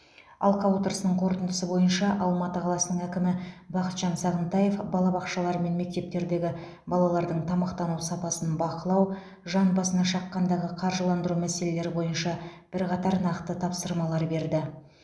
алқа отырысының қорытындысы бойынша алматы қаласының әкімі бақытжан сағынтаев балабақшалар мен мектептердегі балалардың тамақтану сапасын бақылау жан басына шаққандағы қаржыландыру мәселелері бойынша бірқатар нақты тапсырмалар берді